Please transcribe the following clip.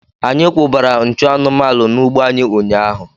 Anyị kwụbara nchụ anụmanụ n'ugbo anyị ụnyaahụ.